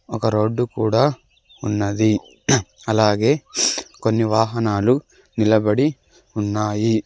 ఒక రోడ్డు కూడా ఉన్నది అలాగే కొన్ని వాహనాలు నిలబడి ఉన్నాయి.